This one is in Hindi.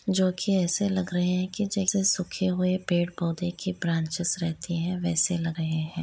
जो कि ऐसे लग रहे है की जैसे सूखे हुए पेड़ पौधे की ब्रांचेज रहती है वैसे लग रहे हैं।